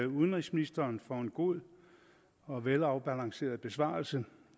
udenrigsministeren for en god og velafbalanceret besvarelse